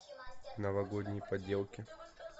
новогодние поделки